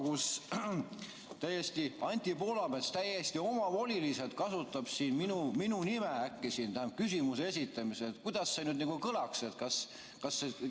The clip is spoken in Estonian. Kui Anti Poolamets täiesti omavoliliselt kasutaks siin küsimuse esitamisel äkki minu nime, siis kuidas see nagu kõlaks?